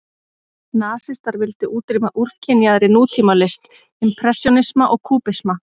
Nasistar vildu útrýma úrkynjaðri nútímalist, impressjónisma og kúbisma.